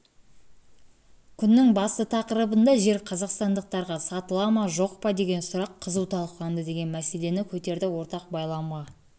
күннің басты тақырыбында жер қазақстандықтарға сатыла ма жоқ падеген сұрақ қызу талқыланды деген мәселені көтерді ортақ байламға